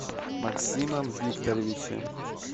максимом викторовичем